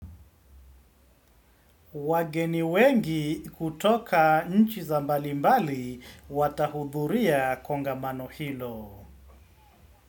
Wageni wengi kutoka nchi za mbali mbali watahudhuria konga mano hilo.